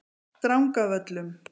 Drangavöllum